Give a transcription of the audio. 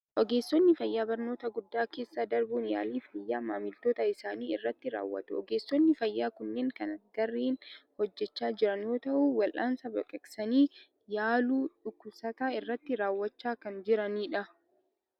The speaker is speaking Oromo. Ogeessonni fayyaa barnoota guddaa keessa darbuun yaalii fayyaa maamiltoota isaanii irratti raawwatu. Ogeessonni fayyaa kunneen kan gareen hojjechaa jiran yoo ta'u, wal'aansa baqaqsanii yaaluu dhukkubsataa irratti raawwachaa kan jirani dha.